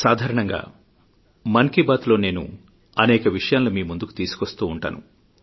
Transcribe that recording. సాధారణంగా మన్ కీ బాత్ లో నేను అనేక విషయాలను మీ ముందుకు తీసుకొస్తూ ఉంటాను